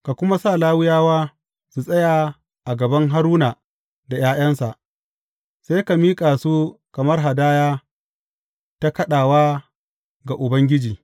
Ka kuma sa Lawiyawa su tsaya a gaban Haruna da ’ya’yansa, sai ka miƙa su kamar hadaya ta kaɗawa ga Ubangiji.